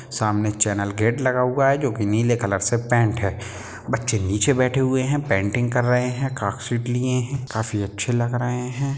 सामने channel gate लगा हुआ हैजो की नीले कलर से पेंट है बच्चे नीचे बैठे हुए है पेंटिंग कर रहे है कागशीट लिए है काफी अच्छे लग रहे है।